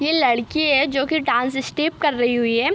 ये लड़की है जोकि डांस स्टेप कर रही हुई है।